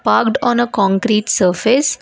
Parked on a concrete surface.